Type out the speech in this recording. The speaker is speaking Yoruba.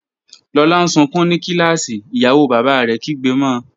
Lola n sunkun ni kilasi, iyawo baba rẹ kigbe mo.